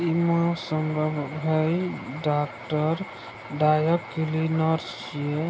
इ मा हेय डॉक्टर ड्राई क्लीनर्स --